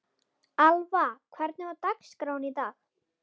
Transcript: Alva, hvernig er dagskráin í dag?